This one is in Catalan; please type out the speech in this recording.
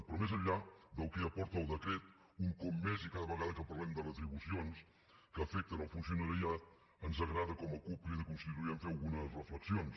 però més enllà del que aporta el decret un cop més i cada vegada que parlem de retribucions que afecten el funcionariat ens agrada com a cup crida constituent fer algunes reflexions